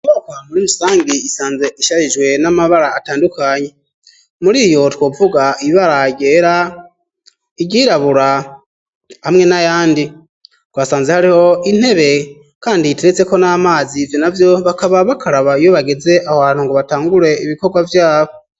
Iyo nyubakwa muri imisangi isanze ishajijwe n'amabara atandukanye, muriyo twovuga ibara ryera, iryirabura hamwe n'ayandi. Twasanze hariho intebe kandi iteretseko n'amazi, ivyo navyo bakaba bakaraba iyo bageze aho hantu ngo batangure ibikorwa vyabo.